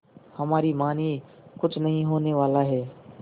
हमारी मानिए कुछ नहीं होने वाला है